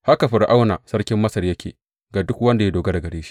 Haka Fir’auna sarkin Masar yake ga duk wanda ya dogara da shi.